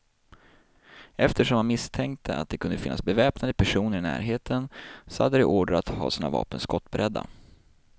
Eftersom man misstänkte att det kunde finnas beväpnade personer i närheten, så hade de order att ha sina vapen skottberedda.